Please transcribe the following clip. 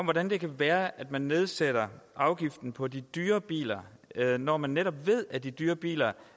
hvordan kan det være at man nedsætter afgiften på de dyre biler når man netop ved at de dyre biler